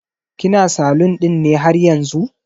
kina salun ɗin ne haryanzu?